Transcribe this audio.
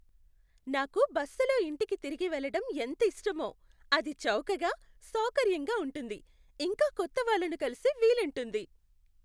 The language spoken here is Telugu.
నాకు బస్సులో ఇంటికి తిరిగి వెళ్ళటం ఎంతిష్టమో. అది చౌకగా, సౌకర్యంగా ఉంటుంది, ఇంకా కొత్తవాళ్ళను కలిసే వీలుంటుంది.